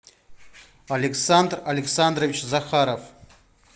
александр александрович захаров